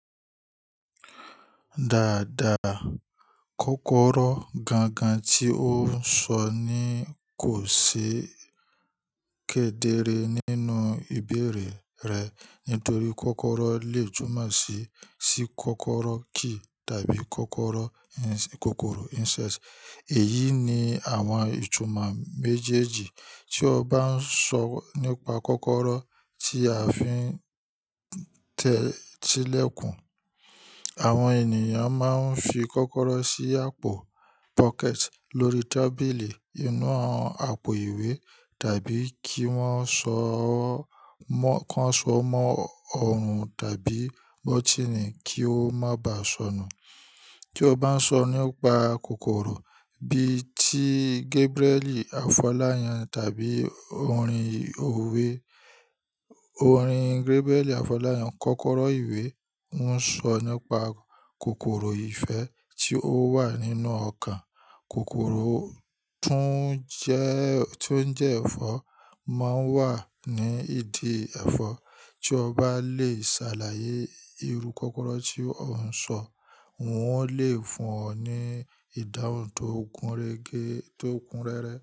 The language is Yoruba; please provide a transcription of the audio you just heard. Dáadáa, kọ́kọ́rọ́ gangan tí ó ń sọ ní kò ṣe kedere nínú ìbéèrè rẹ nítorí kọ́kọ́rọ́ lè tùmọ̀ sí, sí kọ́kọ́rọ́ key tàbí kokoro ins-- kòkòrò insect. Èyí ni àwọn ìtumọ̀ méjèèjì tí ó bá ń sọ nípa kọ́kọ́rọ́ tí a fi ń tí lẹ́kùn. Àwọn ènìyàn máa ń fi kọ́kọ́rọ́ sí àpò pocket lórí tábìlì inú àwọn àpò ìwé tàbí kí wọ́n ṣoo mọ́, kan ṣo mọ́ òòrùn tàbí bótínì kí ó má bàa sọnù. Tí o bá ń sọ nípa kòkòrò bí i tí Gabriel Afolayan tàbí orin òwe, orin Gabriel Afolayan, Kọ́kọ́rọ́ ìwé ń sọ nípa kòkòrò ife tí ó wà nínú ọkàn. Kòkòrò tún jẹ́, tí ó ń jẹ́ ẹ̀fọ́ máa ń wà ní ìdí ẹ̀fọ́ tí o bá lè ṣàlàyé irú kọ́kọ́rọ́ tí ó ń sọ. Un o lè fún ọ ní ìdáhùn tó kun rege,